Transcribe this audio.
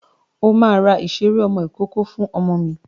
O máa ra ìṣeré ọmọ ìkókó fún ọmọ mi.